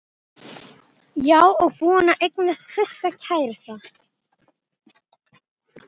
Já, og búin að eignast sinn fyrsta kærasta.